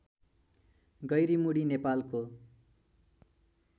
गैरिमुडी नेपालको